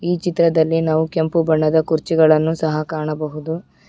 ಈ ಚಿತ್ರದಲ್ಲಿ ನಾವು ಕೆಂಪು ಬಣ್ಣದ ಕುರ್ಚಿಗಳನ್ನು ಸಹ ಕಾಣಬಹುದು.